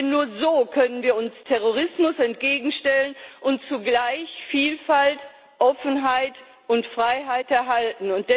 Denn nur so können wir uns Terrorismus entgegenstellen und zugleich Vielfalt, Offenheit und Freiheit erhalten.